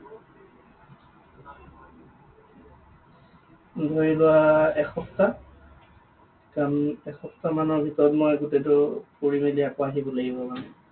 ধৰি লোৱা এসপ্তাহ। কাৰণ এসপ্তাহ মানৰ ভিতৰত মই গোটেইটো ফুৰি মেলি আকৌ আহিব লাগিব মানে।